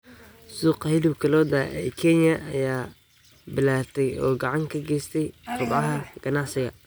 Suuqa hilibka lo'da ee Kenya ayaa ballaartay oo gacan ka geystay kobaca ganacsiga.